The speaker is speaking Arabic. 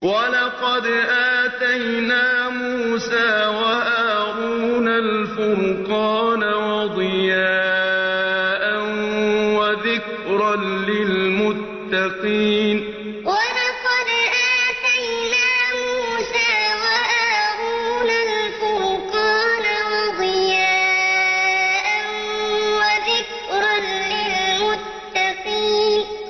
وَلَقَدْ آتَيْنَا مُوسَىٰ وَهَارُونَ الْفُرْقَانَ وَضِيَاءً وَذِكْرًا لِّلْمُتَّقِينَ وَلَقَدْ آتَيْنَا مُوسَىٰ وَهَارُونَ الْفُرْقَانَ وَضِيَاءً وَذِكْرًا لِّلْمُتَّقِينَ